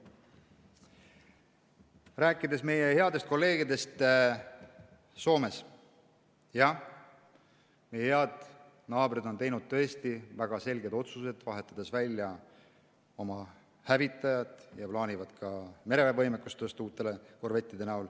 Rääkides meie headest kolleegidest Soomes, siis jah, meie head naabrid on teinud tõesti väga selged otsused, vahetades välja oma hävitajad ja plaanivad ka mereväe võimekust uute korvettidega tõsta.